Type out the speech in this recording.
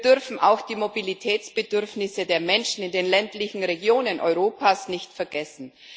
Wir dürfen auch die Mobilitätsbedürfnisse der Menschen in den ländlichen Regionen Europas nicht vergessen.